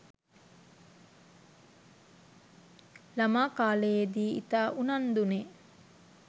ළමා කාලයේදී ඉතා උනන්දුනේ